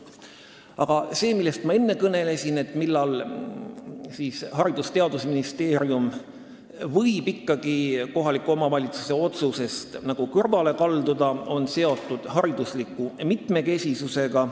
Aga see, millest ma enne kõnelesin, mis juhul Haridus- ja Teadusministeerium võib ikkagi kohaliku omavalitsuse otsusest kõrvale kalduda, on seotud haridusliku mitmekesisusega.